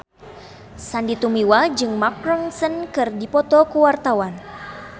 Sandy Tumiwa jeung Mark Ronson keur dipoto ku wartawan